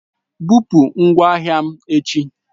Bupụ ngwa ahịa m echi!